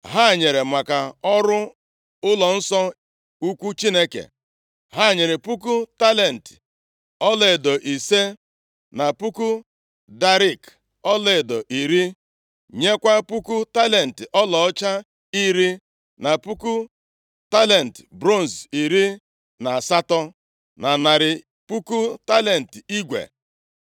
Ha nyere maka ọrụ ụlọnsọ ukwu Chineke. Ha nyere puku talenti ọlaedo ise, na puku darik ọlaedo iri, nyekwa puku talenti ọlaọcha iri, na puku talenti bronz iri na asatọ, na narị puku talenti igwe.